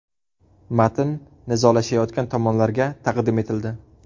Matn nizolashayotgan tomonlarga taqdim etildi.